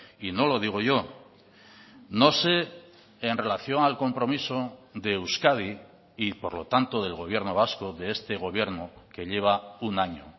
y no lo digo yo no sé en relación al compromiso de euskadi y por lo tanto del gobierno vasco de este gobierno que lleva un año